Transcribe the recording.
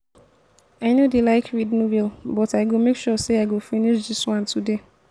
i no dey like read novel but i go make sure say i go finish dis one today